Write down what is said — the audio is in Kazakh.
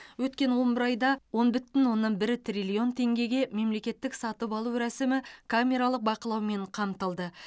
өткен он бір айда он бүтін оннан бір триллион теңгеге мемлекеттік сатып алу рәсімі камералық бақылаумен қамтылды